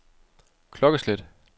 klokkeslæt